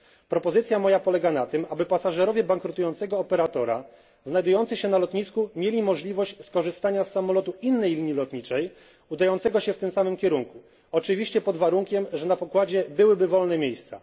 Moja propozycja polega na tym, aby pasażerowie bankrutującego operatora znajdujący się na lotnisku mieli możliwość skorzystania z samolotu innej linii lotniczej udającego się w tym samym kierunku, oczywiście pod warunkiem, że na pokładzie byłyby wolne miejsca.